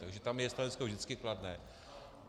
Takže tam je stanovisko vždycky kladné.